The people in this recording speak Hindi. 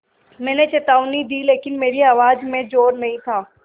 मैंने चेतावनी दी लेकिन मेरी आवाज़ में ज़ोर नहीं था